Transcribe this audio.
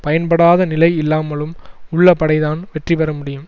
பயன்படாத நிலை இல்லாமலும் உள்ள படைதான் வெற்றி பெற முடியும்